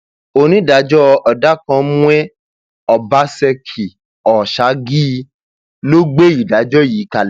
onídàájọ ọdọkánmwen ọbaṣekíòṣágìí ló gbé ìdájọ yìí kalẹ